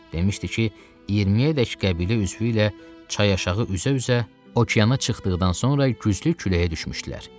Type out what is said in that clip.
Deməişdi ki, 20-yədək qəbilə üzvü ilə çay aşağı üzə-üzə okeana çıxdıqdan sonra güclü küləyə düşmüşdülər.